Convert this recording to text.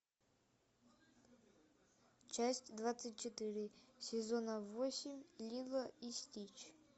часть двадцать четыре сезона восемь лило и стич